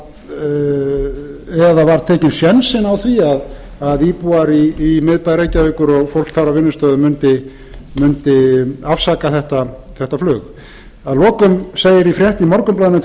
var tekinn sénsinn á því að íbúar í miðbæ reykjavíkur og fólk þar á vinnustöðum mundi afsaka þetta flug að lokum segir í frétt í morgunblaðinu tuttugasta